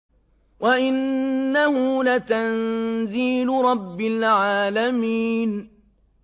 وَإِنَّهُ لَتَنزِيلُ رَبِّ الْعَالَمِينَ